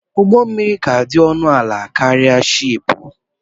Ụgbọ mmiri kà dị ọnụ ala karịa shị́ị́pù